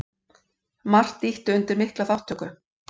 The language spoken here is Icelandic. Margt ýtti undir mikla þátttöku.